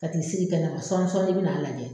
Ka t'i sigi kɛnɛ ma sɔɔni sɔɔni i bɛ na n lajɛ.